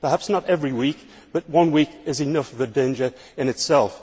perhaps not every week, but one week is enough of a danger in itself.